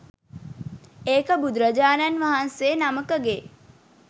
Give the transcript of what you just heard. ඒක බුදුරජාණන් වහන්සේ නමකගේ.